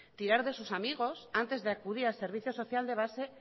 tirar de sus amigos antes de acudir al servicio social de base